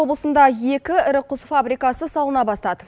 облысында екі ірі құс фабрикасы салына бастады